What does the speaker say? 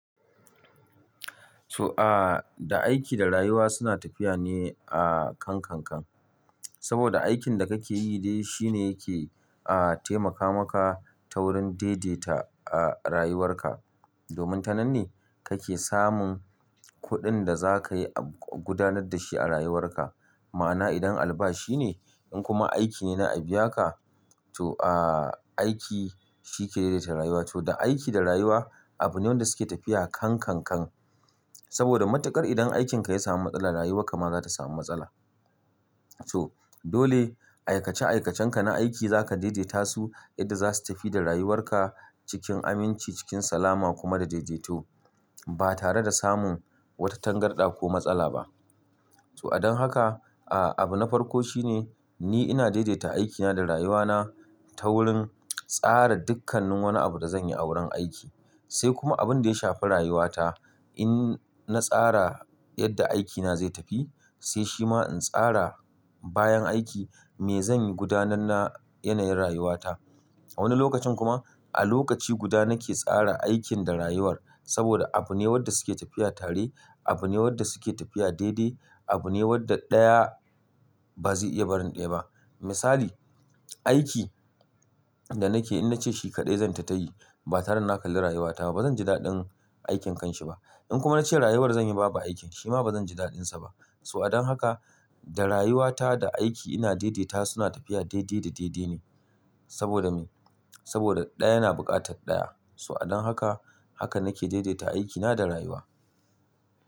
To a, da aiki da rayuwa suna tafiya ne a kan kan kan. Saboda aikin da kake yi dai shi ne yake a taimaka maka ta wurin daidaita a rayuwarka. Domin ta nan ne kake samun kuɗin da za ka yi ab-- gudanar da shi a rayuwarka. Ma'ana idan albashi ne, in kuma aiki ne na abiaka to aa aiki shi ke daidaita rayuwa. To da aiki da rayuwa abu ne wanda suke tafiya kan kankan. Saboda matuƙar idan aikinka ya sami matsala rayuwarka ma za ta sami matsala. To dole aikace-aikacenka na aiki za ka daidaita su yadda za su tafi da rayuwarka cikin aminci, cikin salama kuma da daidaito ba tare da samun wata tangarɗa ko matsala ba. To a don haka, aa abu na farko shi ne ni ina daidaita aikina da rayuwana ta wurin tsara dukkannin wani abu da zan yi a wurin aiki. Sai kuma abun da ya shafi rayuwata in na tsara yadda aikina zai tafi sai shi ma in tsara bayan aiki me zan yi gudanar na yanayin rayuwata. A wani lokacin kuma a lokaci guda nake tsara aikin da rayuwar saboda abu ne wadda suke tafiya tare, abu ne wadda suke tafiya daidai, abu ne wadda ɗaya ba zai iya barin ɗaya ba. Misali, aiki da nake in na ce shi kaɗai zan tattayi ba tare da na kalli rayuwata ba bazan ji daɗin aikin kanshi ba. In kuma na ce rayuwar zan yi babu aikin shi ma bazan ji daɗinsa ba. To a don haka da rayuwata da aiki ina daidaita su suna tafiya daidai da daidai ne. Saboda me? Saboda ɗaya na buƙatar ɗaya. To a don haka haka nake daidaita aikina da rayuwa.